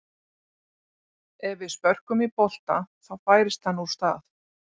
Ef við spörkum í bolta þá færist hann úr stað.